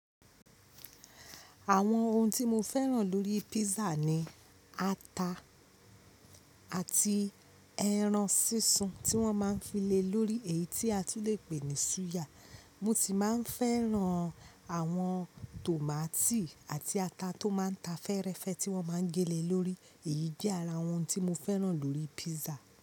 Àwọn ohun tí mo fẹ́ràn lórí písà ni ata àti ẹran sísun tí wọ́n máa ń fi le lórí èyí tí a tún lè pè ní suya. Mo si máa ń fẹ́ran àwọn tòmátì àti ata tó máa ń ta fẹ́rẹ́fẹ́ tí wọ́n máa ń gélé lórí. Èyí jẹ́ ara àwọn ohun tí mo fẹ́ràn lórí písà.